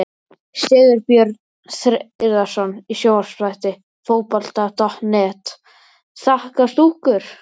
Sigurbjörn Hreiðarsson í sjónvarpsþætti Fótbolta.net: Þak á stúkur!?